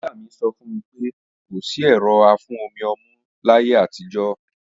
Ìyá mi sọ fún mi pé kò sí ẹ̀rọ afún-omi-ọmú láyé àtijọ́